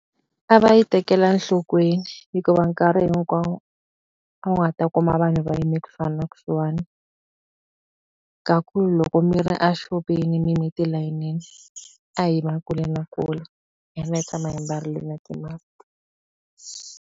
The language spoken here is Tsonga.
A va yi tekela enhlokweni, hikuva nkarhi hinkwawo a wu nga ta kuma vanhu va yime kusuhana na kusuhani. Ka ku loko mi ri a xopeni mi yime tilayinini, a hi yima kule na kule hi tshama hi mbarile na ti-mask.